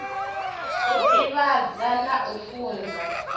u divhadza na u funza